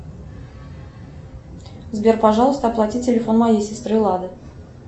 сбер пожалуйста оплати телефон моей сестры лады